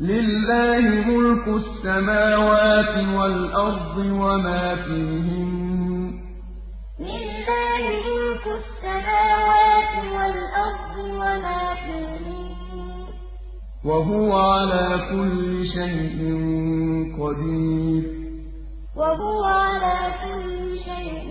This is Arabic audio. لِلَّهِ مُلْكُ السَّمَاوَاتِ وَالْأَرْضِ وَمَا فِيهِنَّ ۚ وَهُوَ عَلَىٰ كُلِّ شَيْءٍ قَدِيرٌ لِلَّهِ مُلْكُ السَّمَاوَاتِ وَالْأَرْضِ وَمَا فِيهِنَّ ۚ وَهُوَ عَلَىٰ كُلِّ شَيْءٍ